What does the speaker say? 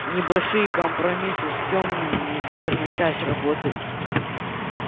небольшие компромиссы с тёмными неизбежная часть работы